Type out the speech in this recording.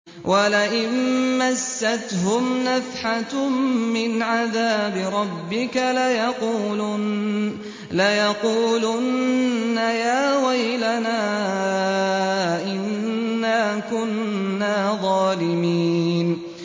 وَلَئِن مَّسَّتْهُمْ نَفْحَةٌ مِّنْ عَذَابِ رَبِّكَ لَيَقُولُنَّ يَا وَيْلَنَا إِنَّا كُنَّا ظَالِمِينَ